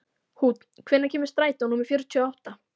Húnn, hvenær kemur strætó númer fjörutíu og átta?